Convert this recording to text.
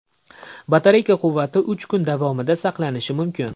Batareya quvvati uch kun davomida saqlanishi mumkin.